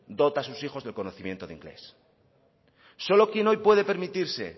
dota a sus hijos del conocimiento del inglés solo quien hoy puede permitirse